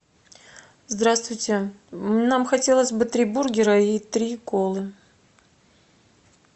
здравствуйте нам хотелось бы три бургера и три колы